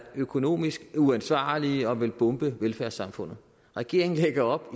økonomisk uansvarlige og for at ville bombe velfærdssamfundet regeringen lægger op